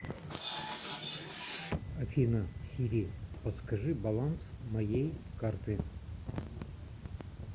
афина сири подскажи баланс моей карты